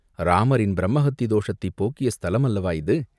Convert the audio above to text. இராமரின் பிரம்மஹத்தி தோஷத்தைப் போக்கிய ஸ்தலம் அல்லவா இது?